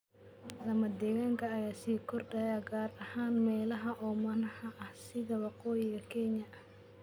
Lamadegaanka ayaa sii kordhaya gaar ahaan meelaha oomanaha ah sida Waqooyiga Kenya.